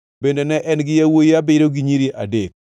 Bende ne en gi yawuowi abiriyo gi nyiri adek.